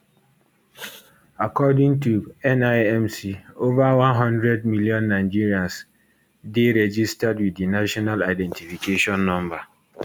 according to nimc ova one hundred million nigerians dey registered wit di national identification number